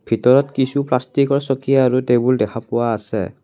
ভিতৰত কিছু প্লাষ্টিকৰ চকী আৰু টেবুল দেখা পোৱা আছে।